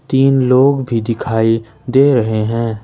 तीन लोग भी दिखाई दे रहे हैं।